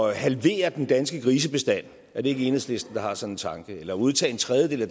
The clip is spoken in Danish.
at halvere den danske grisebestand er det ikke enhedslisten der har sådan en tanke eller udtage en tredjedel af